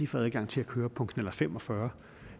få adgang til at køre på knallert fem og fyrre